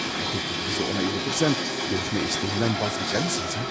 Əgər təklifinizi ona çatdırsam, görüşmə istəyindən vaz keçərsinizmi, hə?